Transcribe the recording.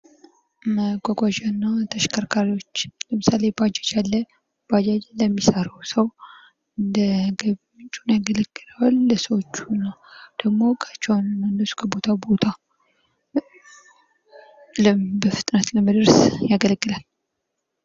መጓጓዣና ተሽከርካሪዎች ለምሳሌ ባጃጅ አለ ባጃጅ ለሚሰራው ሰው እንደገቢ ምንጭ ሆኖ ያገለግለዋል ።ለሰዎቹ ደግሞ ከቦታ ቦታ በፍጥነት ለመድረስ ያገለግላል።